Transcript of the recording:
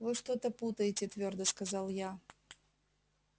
вы что-то путаете твёрдо сказала я